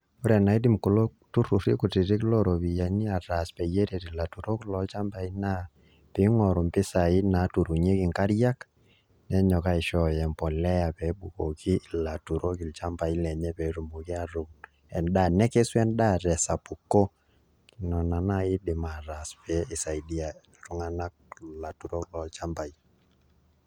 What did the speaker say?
Ore enaidim kulo turruri kutitik looropiyiani ataas peyie eret ilaturok loochambai naa piing'oru mpisaai naaturunyieki nkariak nenyok aishooyo embolea pee ebukoki ilaturok ilchambai lenye pee etumoki atuun enda, nekesu endaa tesapuko nena naai iindim ataas pee isaidia iltung'anak ilaturok lolchambai.